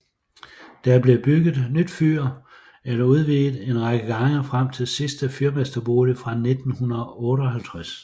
Der blev bygget nyt fyr eller udvidet en række gange frem til sidste fyrmesterbolig fra 1958